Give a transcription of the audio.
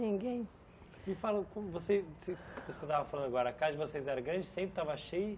Ninguém... Me fala, como vocês vocês como você estava falando agora, a casa de vocês era grande, sempre estava cheia?